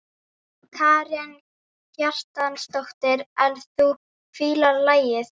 Karen Kjartansdóttir: En þú fílar lagið?